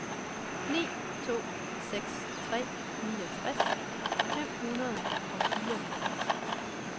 ni to seks tre niogtres fem hundrede og fireoghalvtreds